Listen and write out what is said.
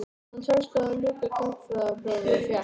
Honum tókst þó að ljúka gagnfræðaprófi og fékk